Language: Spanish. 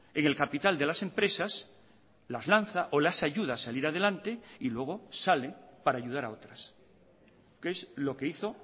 en el capital de las empresas las lanza o las ayuda a salir adelante y luego sale para ayudar a otras que es lo que hizo